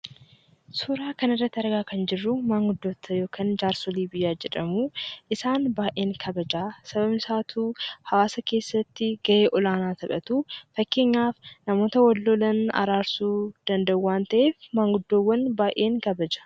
Suuraa kana irratti argaa kan jirru maanguddoota yookaan jaarsolii biyyaa jedhamu. Isaan baay'een kabajaa sababnii isaammoo hawaasa keessatti ga'ee olaanaa taphatu. Fakkenyaaf namoota wallolan araarsuu danda'u waan ta'eef, manguddoowwan baay'een kabaja.